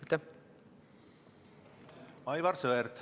Aivar Sõerd, palun!